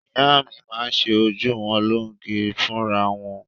Ìyá mi máa ń ṣe ojú wọn lóge fúnra wọn.